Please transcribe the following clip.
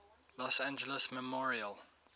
los angeles memorial